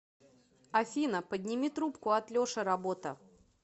афина подними трубку от леши работа